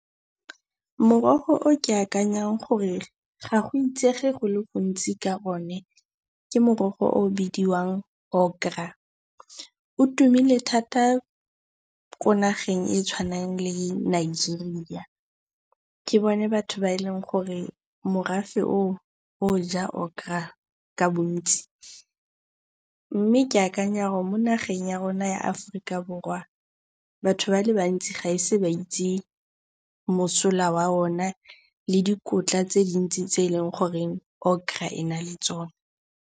Morogo o ke akanyang gore ga go itsege go le gontsi ka one ke morogo o o bidiwang okra. O tumile thata ko nageng e e tshwanang le Nigeria. Ke bone batho ba e leng gore morafe oo o ja okra ka bontsi. Mme ke akanya gore mo nageng ya rona ya Aforika Borwa batho ba le bantsi ga ba ise ba itse mosola wa ona le dikotla tse di ntsi tse e leng goreng okra e na le tsona.